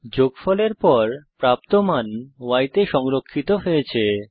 যোগফলের পর প্রাপ্ত মান y তে সংরক্ষিত হয়েছে